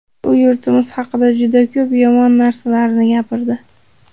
U yurtimiz haqida juda ko‘p yomon narsalarni gapirdi.